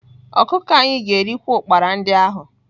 Ọkụkọ anyị ga-erikwa ụkpara ndị ahụ